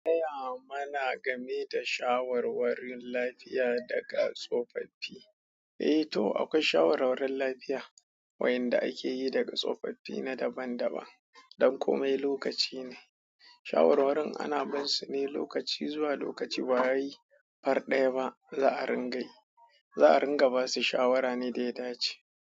Gaya mana game da shawarwarin lafiya daga tsofaffi? Eh to akwai shawarwarin lafiya wayanda akeyi daga tsofaffi na daban-daban. Dan komai lokaci ne. Shawarwarin ana binsu ne lokaci zuwa lokaci ba wai far daya ba, za'a rin gayi. Za'a ringa basu shawara ne da ya dace.